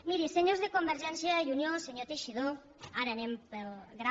mirin senyors de convergència i unió senyor teixidó ara anem pel gra